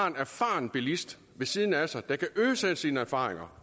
en erfaren bilist ved siden af sig der kan øse af sine erfaringer